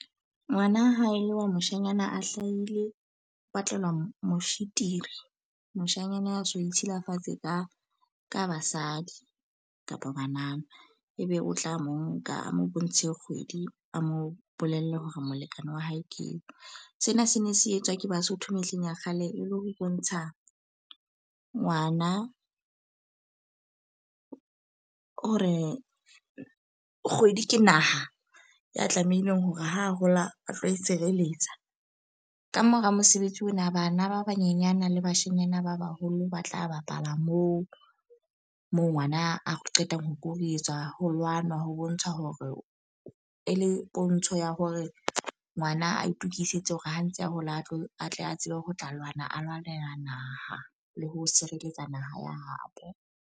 Ngwana ha e le wa moshanyana a hlaile o batlelwa moshitiri. Moshanyana a so ditshilafatshe ka ka basadi kapa banana. E be o tla mo nka a mo bontshe kgwedi, a mo bolelle hore molekane wa hae ke eo. Sena se ne se etswa ke Basotho mehleng ya kgale, e le ho bontsha ngwana hore kgwedi ke naha ya tlamehileng hore ho hola a tlo itshireletsa. Ka mora mosebetsi ona bana ba banyenyana le bashenyana ba baholo ba tla bapala moo, moo ngwana a qetang ho koruetswa ho lwanwa ho bontsha hore e le pontsho ya hore ngwana a itokisetse hore ha ntse a hola a tle a tsebe ho tla lwana, a lwanela naha le ho sireletsa naha ya ha bo.